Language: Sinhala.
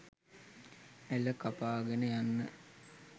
ඇළ කපාගෙන යන්න